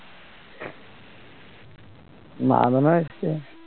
মারাদোনাও এসছে